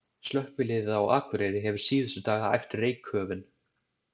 Slökkviliðið á Akureyri hefur síðustu daga æft reykköfun.